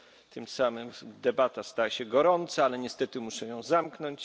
Tym samym debata stała się gorąca, ale niestety muszę ją zamknąć.